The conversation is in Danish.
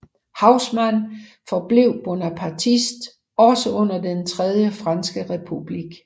Haussmann forblev bonapartist også under den tredje franske republik